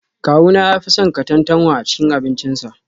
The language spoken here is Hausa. Kawuna ya fi son katantanwa a cikin abincinsa